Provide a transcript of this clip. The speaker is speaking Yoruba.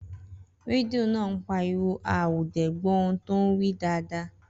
Rẹdìo náà páríwò á ó dé gbó tòun wí dádá.